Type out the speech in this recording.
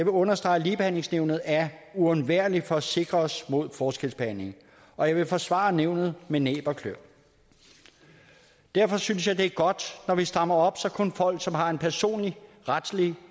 understrege at ligebehandlingsnævnet er uundværligt for at sikre os mod forskelsbehandling og jeg vil forsvare nævnet med næb og klør derfor synes jeg at det er godt når vi strammer op så kun folk som har en personlig retlig